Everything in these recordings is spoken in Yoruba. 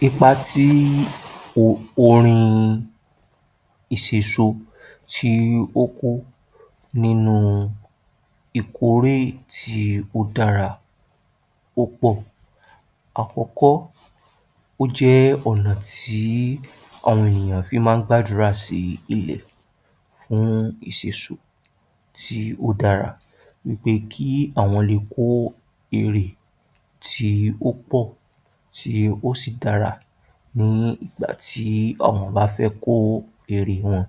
Ipa tí o orin ìsèso tí ó kó nínú ìkórè tí ó dára ó pọ̀. Àkọ́kọ́, ó jẹ́ ọ̀nà tí àwọn ènìyàn fi máa ń gbàdúrà sí ilẹ̀ fún ìsèsò tí ó dára wí pé kí àwọn le kó irè tí ó pọ̀ tí ó sì dára ní ìgbà tí àwọn bá fẹ́ kó irè wọn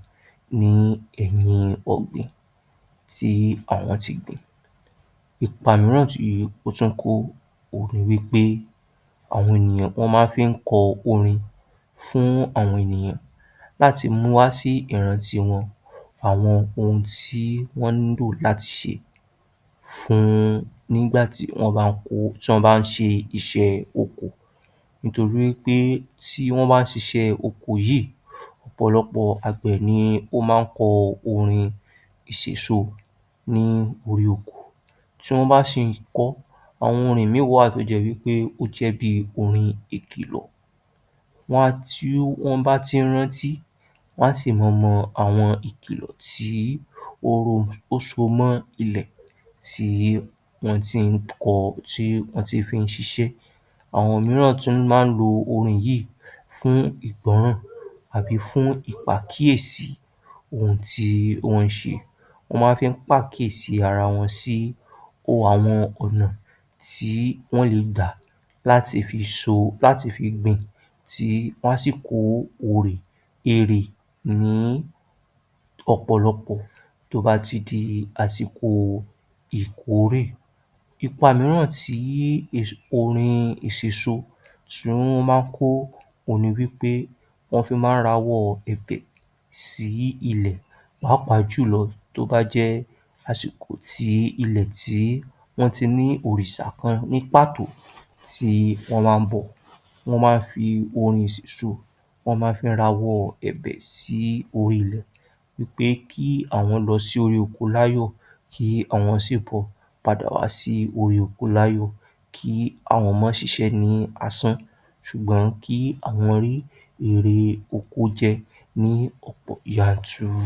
ní ẹ̀yìn ọ̀gbìn tí àwọn ti gbìn. Ipa mìíràn tí ó tún kó òhun ni wí pé àwọn ènìyàn wọ́n máa ń fi kọ orin fún àwọn ènìyàn láti mú wá sí ìrántí wọn àwọn ohun tí wọ́n ń lò láti ṣe fún, nígbà tí wọ́n bá ń kó, tí wọ́n bá ń ṣe iṣẹ́ oko. Nítorí wí pé tí wọ́n bá ń ṣiṣẹ́ oko yìí, ọ̀pọ̀lọpọ̀ àgbẹ̀ ni ó máa ń kọ orin ìsèso ni orí oko. Tí wọ́n bá sì ń kọ ọ́, àwọn orin míì wà tó jẹ́ wí pé ó jẹ́ bíi orin ìkìlọ̀, wọ́n á, tí wọ́n bá tí ń rántí wọ́n á sì mọ mọ àwọn ìkìlọ̀ tí ó rò, ó so mọ́ ilẹ̀ tí wọ́n tí ń kọ, tí wọ́n ti fi ń ṣiṣẹ́. Àwọn mìíràn tún máa ń lo orin yìí fún ìgbọ́ràn àbí fún ìpàkíyèsì ohun tí wọ́n ń ṣe. Wọ́n máa ń fi pàkíyèsí ara wọn sí o àwọn ọ̀nà tí wọ́n le gbà láti fi so, láti fi gbìn tí lásìkò òrè ìrè ní ọ̀pọ̀lọpọ̀ tó bá ti di àsìkò ìkórè. Ipa mìíràn tí ì orin ìsèso tún máa ń kó òhun ni wí pé, wọ́n fi máa ń rawọ́ ẹ̀bẹ̀ sí ilẹ̀, pàápàá jù lọ tó bá jẹ́ àsìkò tí ilẹ̀ tí wọ́n ti ní òrìṣà kan ní pàtó tí wọ́n wá ń bọ. Wọ́n máa ń fi orin ìsèso wọ́n máa ń fi rawọ́ ẹ̀bẹ̀ sí orí ilẹ̀ wí pé kí àwọn lọ sí orí oko láyọ̀, kí àwọn sì bọ̀ padà wá sí orí oko láyọ̀, kí àwọn má ṣiṣẹ́ ní asán. Ṣùgbọ́n kí àwọn rí èrè oko jẹ ní ọ̀pọ̀ yanturu.